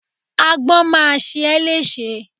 Agbọ́n má a ṣe ẹ́ lẹ́ṣe.